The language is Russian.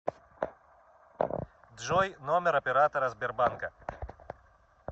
джой номер оператора сбербанка